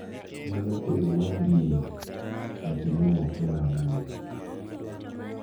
Mana kaka, e yo mar dini, nyaka imi nyathino nying,